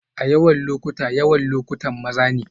A yawan lokuta, yawan lokutan maza ne